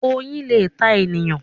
Oyin lẹ tá èèyàn.